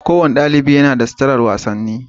Kowane ɗaliɓi yana da suturar wasanni.